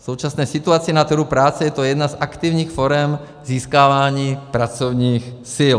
V současné situaci na trhu práce je to jedna z aktivních forem získávání pracovních sil.